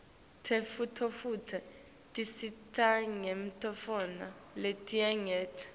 tentfutfuko tisisita ngetintfo letinyenti